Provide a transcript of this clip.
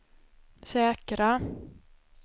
säkra